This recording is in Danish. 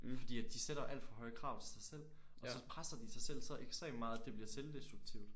Fordi at de sætter alt for høje krav til sig selv og så presser de sig selv så ekstremt meget at det bliver selvdestruktivt